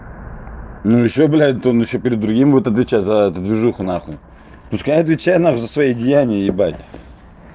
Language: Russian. ну ещё блядь там ещё перед другим будет отвечать за эту движуху нахуй пускай отвечает нахуй за свои деяния ебать